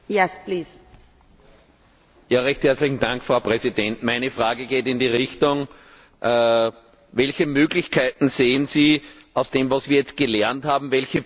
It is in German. Welche Möglichkeiten sehen Sie aus dem, was wir jetzt gelernt haben, welche praktischen Verbesserungsvorschläge können wir hier unterbreiten, um diese Krise in den Griff zu bekommen?